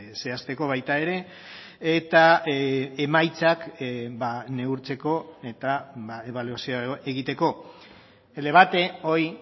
zehazteko baita ere eta emaitzak neurtzeko eta ebaluazioa egiteko el debate hoy